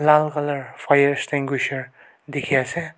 lal colour fire extinguisher dekhey ase.